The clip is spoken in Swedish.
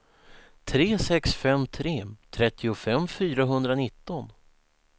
tre sex fem tre trettiofem fyrahundranitton